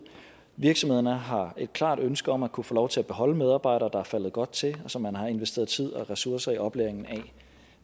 virksomhederne har et klart ønske om at kunne få lov til at holde medarbejdere der er faldet godt til og som man har investeret tid og ressourcer i oplæringen af